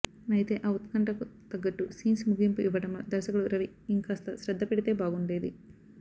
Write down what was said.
అయితే ఆ ఉత్కంఠకు తగ్గట్టు సీన్స్ ముగింపు ఇవ్వడంలో దర్శకుడు రవి ఇంకాస్త శ్రద్ధ పెడితే బాగుండేది